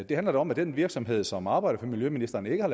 det handler da om at den virksomhed som arbejder for miljøministeren ikke har